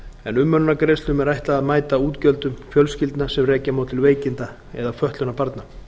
en umönnunargreiðslum er ætlað að mæta útgjöldum fjölskyldna sem rekja má til veikinda eða fötlunar barna